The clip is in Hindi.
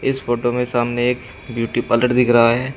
इस फोटो में सामने एक ब्यूटी पार्लर दिख रहा है।